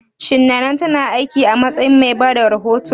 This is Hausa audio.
Shin Nana ta na aiki a matsayin mai bada rahoto?